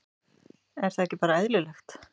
Er það ekki bara eðlilegt?